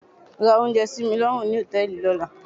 Ra oúnjẹ sí mi lọ́rùn ni hòtẹ́ẹ̀lì lọ́la.